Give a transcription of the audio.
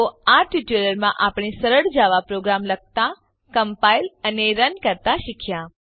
તો આ ટ્યુટોરીયલ માં આપણે સરળ જાવા પ્રોગ્રામ લખતા કમ્પાઇલ અને રન કરતા શીખ્યા